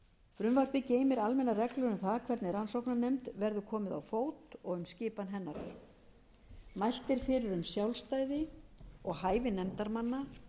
frumvarpið geymir almennar reglur um það hvernig rannsóknarnefnd verður komið á fót og um skipan hennar mælt er fyrir um sjálfstæði og hæfi nefndarmanna